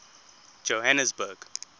johannesburg